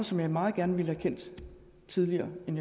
som jeg meget gerne ville have kendt tidligere end